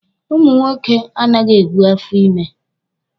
Ụmụ nwoke anaghị ebu afọ ímē.